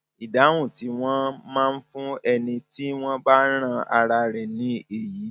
ìdáhùn tí wọn máa ń fún ẹni tí wọn bá rán ara rẹ ni èyí